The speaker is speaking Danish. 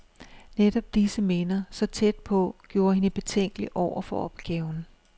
Netop disse minder, så tæt på, gjorde hende betænkelig over for opgaven.